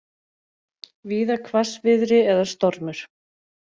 Víða hvassviðri eða stormur